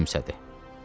Ken gülümsədi.